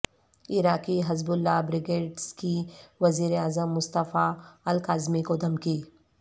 عراقی Hezbollah brigades کی وزیراعظم مصطفی الکاظمی کو دھمکی